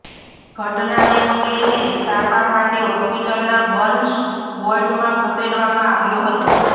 ઘટનાને પગલે તેને સારવાર માટે હોસ્પિટલના બર્ન્સ વોર્ડમાં ખસેડવામાં આવ્યો હતો